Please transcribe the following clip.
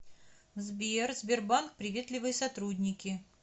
сбер сбербанк приветливые сотрудники